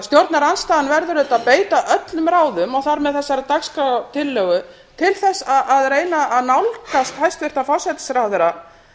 stjórnarandstaðan verður auðvitað að beita öllum ráðum og þar með þessari dagskrártillögu til að reyna að nálgast hæstvirtan forsætisráðherra